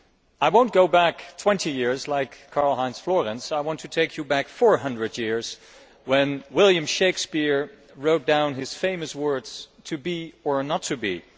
I will not go back twenty years like Karl Heinz Florenz, but rather I want to take you back 400 years when William Shakespeare wrote his famous words to be or not to be'.